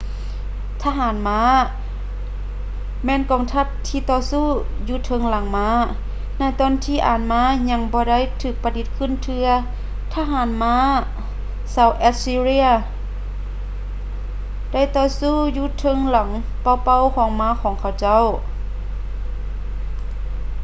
ທະຫານມ້າ ແມ່ນກອງທັບທີ່ຕໍ່ສູ້ຢູ່ເທິງຫຼັງມ້າ. ໃນຕອນທີ່ອານມ້າຍັງບໍ່ໄດ້ຖືກປະດິດຂຶ້ນເທື່ອ ທະຫານມ້າຊາວ ແອັດຊີເຣຍ assyrian ໄດ້ຕໍ່ສູ້ຢູ່ເທິງຫຼັງເປົ່າໆຂອງມ້າຂອງເຂົາເຈົ້າ